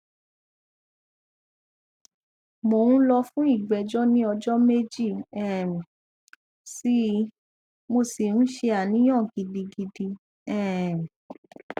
mo n lọ fún ìgbẹjọ ní ọjọ méjì um sí i mo sì n ṣe àníyàn gidigidi um